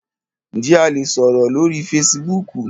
Njẹ a le sọrọ lori Fèsìbúukù?